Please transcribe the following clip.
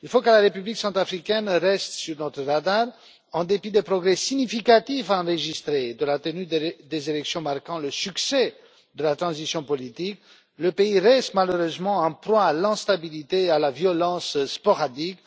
Il faut que la République centrafricaine reste sur notre radar en dépit des progrès significatifs enregistrés et de la tenue des élections marquant le succès de la transition politique. Le pays reste malheureusement en proie à l'instabilité et à la violence sporadique.